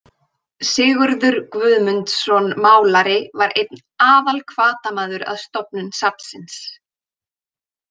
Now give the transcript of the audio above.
Sigurður Guðmundsson málari var einn aðalhvatamaður að stofnun safnsins.